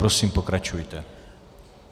Prosím, pokračujte.